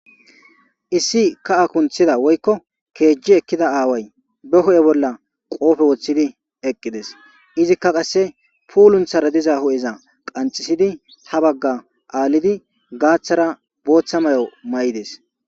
issi ka7a kunthida woykko keejji ekkida aaway be ho7e bolla qoofe woththidi eqqides izikka qasse puulunthara diza hu7eza qanxisidi ha bagga aalidi gaaththara booththa may7o ma7ides